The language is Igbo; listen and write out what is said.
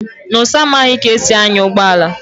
Nonso amaghị ka e si anya ụgbọala